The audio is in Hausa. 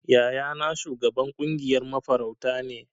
Yayana shugaban kungiyar mafarauta ne.